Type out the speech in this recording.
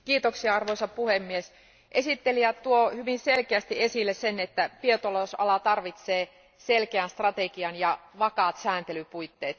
Arvoisa puhemies, esittelijä tuo hyvin selkeästi esille sen, että biotalousala tarvitsee selkeän strategian ja vakaat sääntelypuitteet.